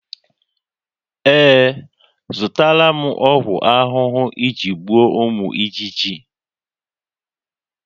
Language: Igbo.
Ee, azụtara m ọgwụ ahụhụ iji gbuo ụmụ ijiji